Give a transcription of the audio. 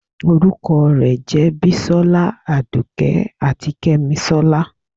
orukọ re jẹ bísòla, àdùké atí kemísólá.